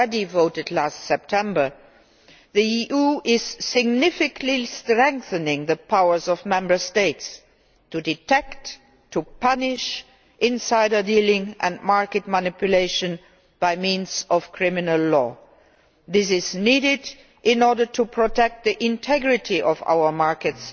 voted in September 2013, the EU is significantly strengthening the powers of Member States to detect and punish insider dealing and market manipulation, by means of criminal law. This is needed in order to protect the integrity of our markets,